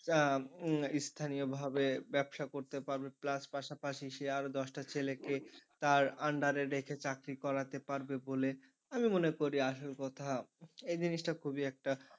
আহ উম স্থানীয়ভাবে ব্যবসা করতে পারবে plus পাশাপাশি সে আরও দশটা ছেলেকে তার under রে রেখে চাকরি করাতে পারবে বলে আমি মনে করি আসল কথা এই জিনিসটা খুবই একটা,